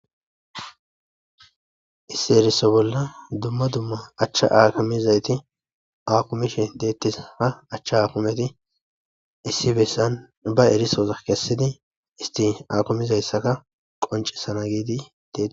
Issi eriso bolla dumma dumma achcha aakimezayti aakumishe deettees.A chcha aakumeti issi bessan ba erisoza kessidi isti akumizayssaka qonccisana giidi deet.